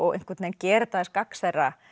einhvern veginn gera þetta aðeins gagnsærra